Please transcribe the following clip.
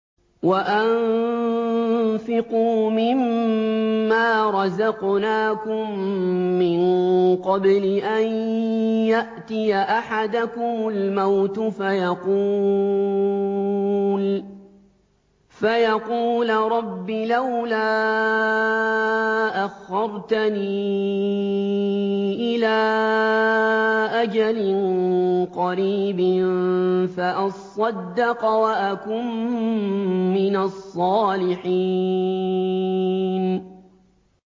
وَأَنفِقُوا مِن مَّا رَزَقْنَاكُم مِّن قَبْلِ أَن يَأْتِيَ أَحَدَكُمُ الْمَوْتُ فَيَقُولَ رَبِّ لَوْلَا أَخَّرْتَنِي إِلَىٰ أَجَلٍ قَرِيبٍ فَأَصَّدَّقَ وَأَكُن مِّنَ الصَّالِحِينَ